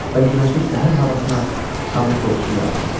Və günəşli səhər havasına qanın qoxusu yayılırdı.